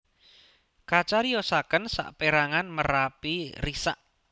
Kacariyosaken sapeérangan merapi risak